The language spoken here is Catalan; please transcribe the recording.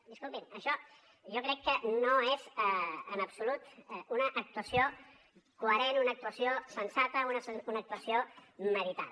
disculpin això jo crec que no és en absolut una actuació coherent una actuació sensata una actuació meditada